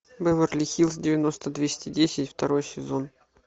беверли хиллз девяносто двести десять второй сезон